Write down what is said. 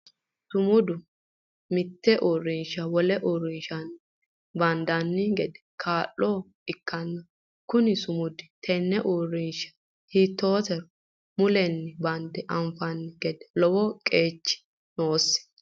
Sumudu mite uurinsha wole uurinshanni bandanni gede kaa'lanoha ikanna kunni sumudi tenne uurinsha hiiteetiro mulenni bande anfanni gede lowo qeechi noosi.